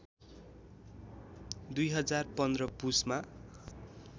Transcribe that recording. २०१५ पुसमा